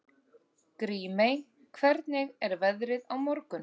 Grímey, hvernig er veðrið á morgun?